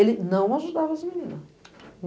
Ele não ajudava as meninas.